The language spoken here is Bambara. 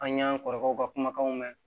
An y'an kɔrɔkɛw ka kumakanw mɛn